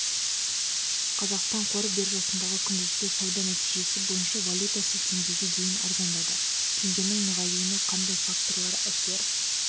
қазақстан қор биржасындағы күндізгі сауда нәтижесі бойынша валютасы теңгеге дейін арзандады теңгенің нығаюына қандай факторлар әсер